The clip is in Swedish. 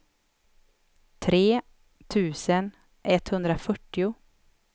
tre tusen etthundrafyrtio